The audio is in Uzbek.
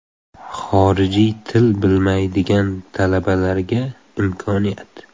Xorijiy til bilmaydigan talabalarga imkoniyat.